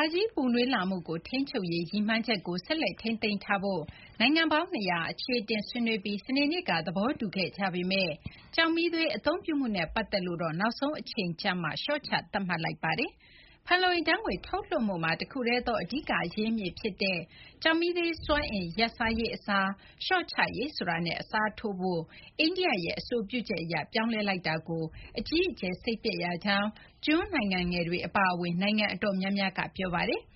ာကြီး ပူနွေးလာမှုကို ထိန်းချုပ်ရေး ရည်မှန်းချက်ကို ဆက်လက်ထိန်းသိမ်းထားဖို့ နိုင်ငံပေါင်း ၂၀၀ အချေအတင် ဆွေးနွေးပြီး စနေနေ့က သဘောတူခဲ့ကြပေမယ့် ကျောက်မီးသွေး အသုံးပြုမှုနဲ့ ပတ်သက်လို့တော့ နောက်ဆုံးအချိန်ကျမှ လျှော့ချသတ်မှတ်လိုက်ပါတယ်။ ဖန်လုံအိမ်ဓာတ်ငွေ့ ထုတ်လွှတ်မှုမှာ တခုတည်းသော အဓိက အရင်းအမြစ်ဖြစ်တဲ့ ကျောက်မီးသွေးစွမ်းအင် ရပ်ဆိုင်းရေးအစား လျှော့ချရေး ဆိုတာနဲ့ အစားထိုးဖို့ အိန္ဒိယရဲ့ အဆိုပြုချက်အရ ပြောင်းလဲလိုက်တာကို အကြီးအကျယ် စိတ်ပျက်ရကြောင်း ကျွန်းနိုင်ငံငယ်တွေ အပါအဝင် နိုင်ငံအတော်များများက ပြောဆိုကြပါတယ်။